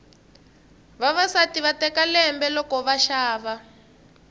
vavasati va teka lembe loko va xava